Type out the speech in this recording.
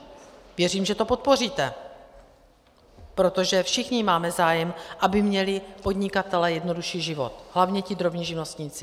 Věřím, že to podpoříte, protože všichni máme zájem, aby měli podnikatelé jednodušší život, hlavně ti drobní živnostníci.